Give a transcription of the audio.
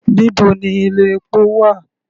Níbo ni ilé epo wà?